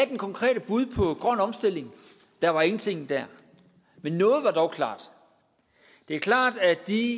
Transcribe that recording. det konkrete bud på grøn omstilling der var ingenting der men noget er dog klart det er klart at de